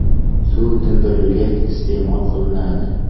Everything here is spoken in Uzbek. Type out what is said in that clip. Suv tindirilgach, iste’mol qilinadi.